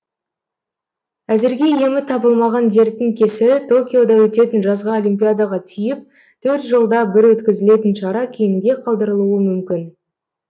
әзірге емі табылмаған дерттің кесірі токиода өтетін жазғы олимпиадаға тиіп төрт жылда бір өткізілетін шара кейінге қалдырылуы мүмкін